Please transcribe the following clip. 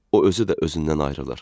O özü də özündən ayrılır.